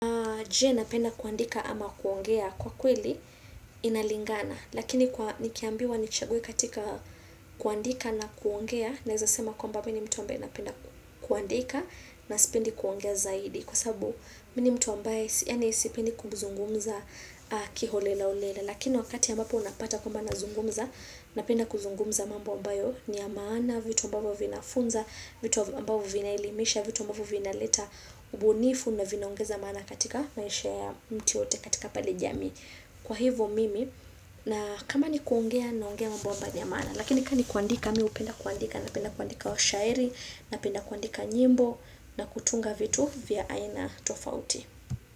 Je, napenda kuandika ama kuongea? Kwa kweli inalingana. Lakini nikiambiwa nichague katika kuandika na kuongea nawezasema kwamba mimi ni mtu ambeye napenda kuandika na sipendi kuongea zaidi kwa sababu mimi ni mtu ambeye yaani sipendi kuzungumza kiholelaholela lakini wakati ya mbapo unapata kwamba nazungumza Napenda kuzungumza mambo mbayo ni ya maana, vitu mbavyo vinafunza, vitu mbavyo vinaelimisha, vitu mbavyo vinaleta ubunifu na vinaongeza maana katika maisha ya mtu yeyote katika pale jamii. Kwa hivyo mimi na kama ni kuongea naongea mbomba jamani. Lakini kama ni kuandika, mimi hupenda kuandika. Napenda kuandika shairi Napenda kuandika nyimbo na kutunga vitu vya aina tofauti.